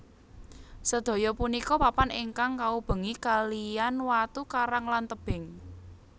Sedaya punika papan ingkang kaubengi kalihan watu karang lan tebing